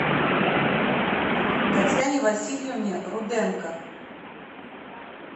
татьяне васильевне руденко